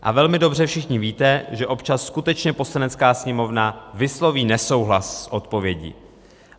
A velmi dobře všichni víte, že občas skutečně Poslanecká sněmovna vysloví nesouhlas s odpovědí.